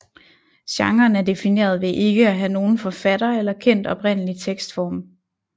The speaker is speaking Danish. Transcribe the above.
Genren er defineret ved ikke at have nogen forfatter eller kendt oprindelig tekstform